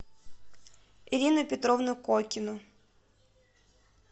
ирину петровну кокину